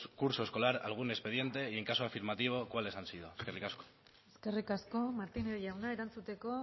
curso escolar algún expediente y en caso afirmativo cuáles han sido eskerrik asko eskerrik asko martínez jauna erantzuteko